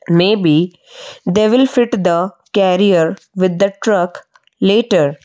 may be they will fit the carrier with that truck later --